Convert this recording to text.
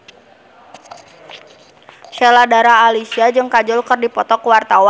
Sheila Dara Aisha jeung Kajol keur dipoto ku wartawan